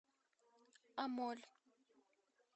амоль